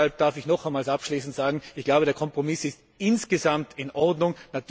Deshalb darf ich noch einmal abschließend sagen Ich glaube, der Kompromiss ist insgesamt in Ordnung.